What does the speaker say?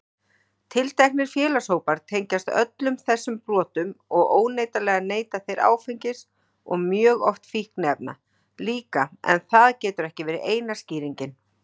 Tilteknir félagshópar tengjast öllum þessum brotum og óneitanlega neyta þeir áfengis og mjög oft fíkniefna líka en það getur ekki verið eina skýringin.